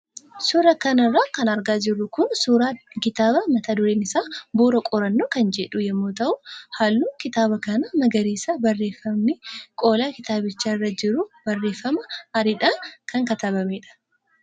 Suuraa kanarra kan argaa jirru kun suuraa kitaaba mata dureen isaa "Bu'uura Qorannoo" kan jedhu yommuu ta'u, halluun kitaaba kanaa magariisaa fi barreeffamni qola kitaabichaa irra jiru barreeffama adiidhaan kan katabamedha.